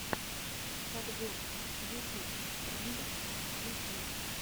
подборка ютуб трендов ютюб